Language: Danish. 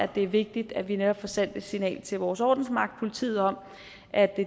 det er vigtigt at vi netop får sendt et signal til vores ordensmagt politiet om at